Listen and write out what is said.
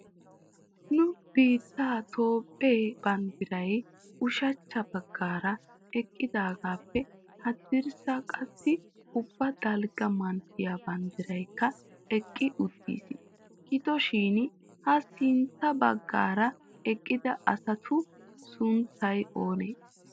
Nu biittee Toophe banddiray ushshachcha baggaara eqqidaagappe haddirssa qassi ubba dalgga manttiyaa banddiraykka eqqi uttiis. Gidoshin ha sintta baggaara eqqida asatu sunttay oonee?